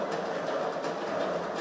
Qarabağ!